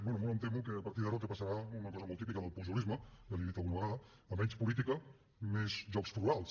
bé molt em temo que a partir d’ara el que passarà és una cosa molt típica del pujolisme ja li ho he dit alguna vegada a menys política més jocs florals